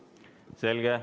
Selge.